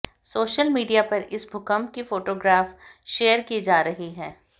social media पर इस भूकंप की फोटोग्राफ शेयर की जा रही है